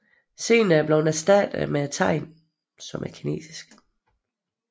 Senere er det blevet erstattet med tegnet 壯